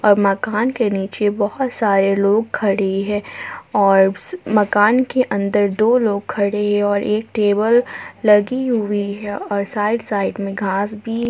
मकान के नीचे बहुत सारे लोग खड़े है और मकान के अंदर दो लोग खड़े है और एक टेबल लगी हुई है और साइड साइड में घास भी--